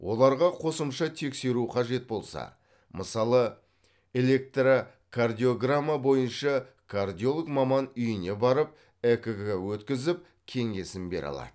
оларға қосымша тексеру қажет болса мысалы электрокардиограмма бойынша кардиолог маман үйіне барып экг өткізіп кеңесін бере алады